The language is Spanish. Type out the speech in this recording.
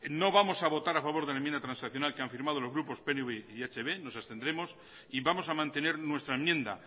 no vamos a votar a favor de la enmienda transaccional que han formado los grupos pnv y ehb nos abstendremos y vamos a mantener nuestra enmienda